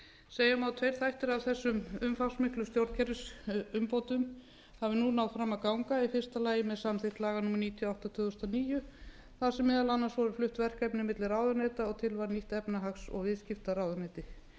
segja má að tveir þættir af þessum umfangsmiklu stjórnkerfisumbótum hafi nú náð fram að ganga í fyrsta lagi með samþykkt laga númer níutíu og átta tvö þúsund og níu þar sem meðal annars voru flutt verkefni milli ráðuneyta og til varð nýtt efnahags og viðskiptaráðuneyti